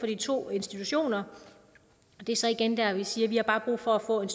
de to institutioner det er så igen der vi siger at vi har brug for at få en